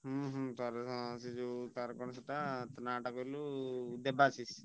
ହୁଁ ହୁଁ ତା'ର ନା ସେ ଯଉ ତାର କଣ ସେଇଟା ତାର ନା ଟା କହିଲୁ ଦେବାଶିଷ।